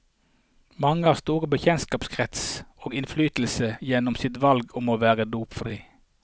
Mange har stor bekjentskapskrets og innflytelse gjennom sitt valg om å være dopfri.